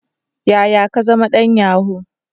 Yaya ka zama dan yahoo?